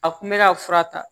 A kun bɛ ka fura ta